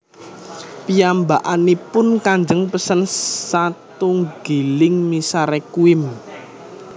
Piyambakipun kajeng pesen satunggiling misa Requiem